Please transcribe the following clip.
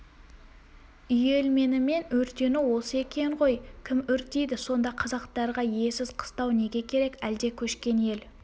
үйелменімен өртену осы екен ғой кім өртейді сонда қазақтарға иесіз қыстау неге керек әлде көшкен ел